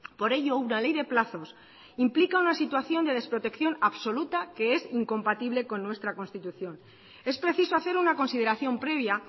por ello una ley de plazos implica una situación de desprotección absoluta que es incompatible con nuestra constitución es preciso hacer una consideración previa